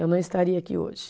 Eu não estaria aqui hoje.